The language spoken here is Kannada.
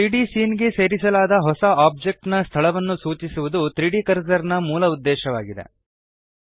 3ದ್ ಸೀನ್ ಗೆ ಸೇರಿಸಲಾದ ಹೊಸ ಓಬ್ಜೆಕ್ಟ್ ನ ಸ್ಥಳವನ್ನು ಸೂಚಿಸುವದು 3ದ್ ಕರ್ಸರ್ ನ ಮೂಲ ಉದ್ದೇಶವಾಗಿದೆ